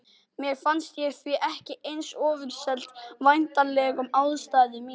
Mér fannst ég því ekki eins ofurseld væntanlegum aðstæðum mínum.